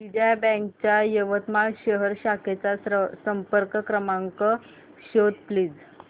Vijaya Bank च्या यवतमाळ शहर शाखेचा संपर्क क्रमांक शोध प्लीज